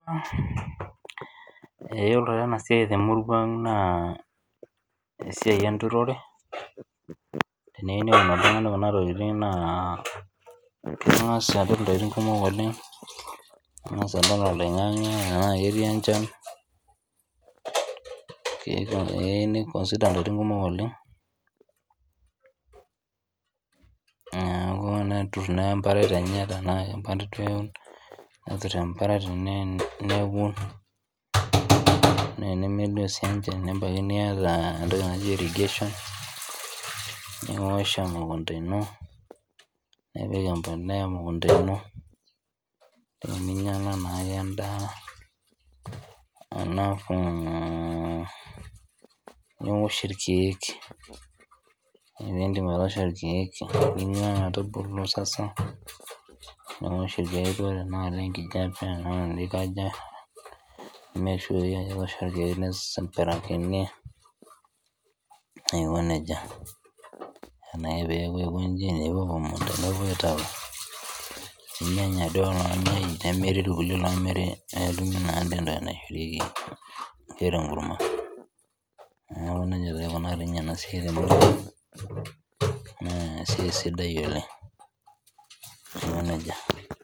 Yiolo taa enasiai te murua ang naa esiai enturore , teneyiu oltungani neun kuna naa kengas apik intokitin kumok oleng. Nengas aingor oloingange tenaa ketii enchan, kifaa ake niconsider ntokitin kumok oleng , neeku netur emparat enye neun. Naa tenemelioo sii enchan , nebaiki niata entoki naji irrigation niosh emukunta , nipik embolea emukunta ino , ninyangwa naake endaa alafu niosh irkiek. Ore pindip atoosho irkieek